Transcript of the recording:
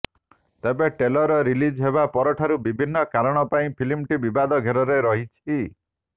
ତେବେ trailer release ହେବା ପରଠାରୁ ବିଭିନ୍ନ କାରଣ ପାଇଁ ଫିଲ୍ମଟି ବିବାଦ ଘେରରେ ରହିଛି